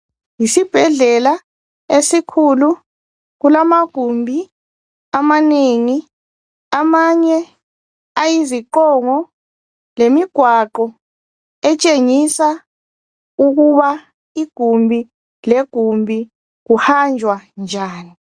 Yisibhedlela esikhulu, kulamagumbi amanengi. Amanye ayiziqongo lemigwaqo etshengisa ukuba igumbi legumbi kuhanjwa njani.